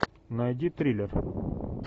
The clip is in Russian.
найди триллер